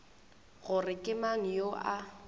gore ke mang yo a